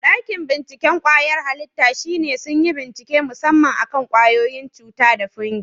Ɗakin binciken kwayar halitta shine sun yi bincike musamman akan kwayoyin cuta da fungi.